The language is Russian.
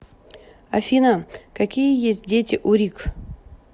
афина какие есть дети у рик